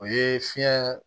O ye fiɲɛ